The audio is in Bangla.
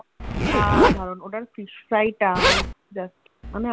অসাধারণ ওটার Fish fry টা মানে আমি